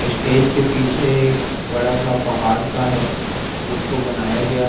stage के पीछे एक बड़ा सा पहाड़ सा है जिसको बनाया गया--